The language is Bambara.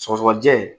Sɔgɔsɔgɔnijɛ